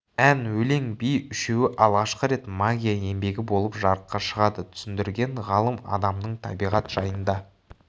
ән өлең би үшеуі алғашқы рет магия еңбегі болып жарыққа шығады түсіндірген ғалым адамның табиғат жайында